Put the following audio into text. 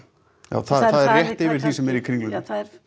já það er rétt yfir því sem er í Kringlunni